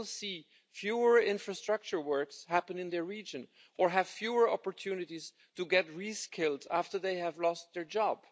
They will see fewer infrastructure works happening in their region or have fewer opportunities to get reskilled after they have lost their jobs.